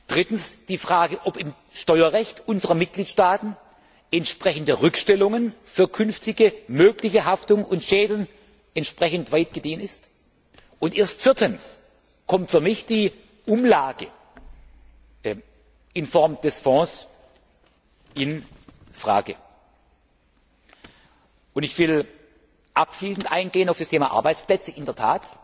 Drittens, die Frage, ob im Steuerrecht unserer Mitgliedstaaten entsprechende Rückstellungen für künftige mögliche Haftung und Schäden entsprechend weit gediehen sind, und erst viertens kommt für mich die Umlage in Form des Fonds in Frage. Ich will abschließend in der Tat auf das Thema Arbeitsplätze eingehen.